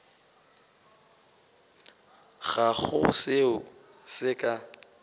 ga go seo se ka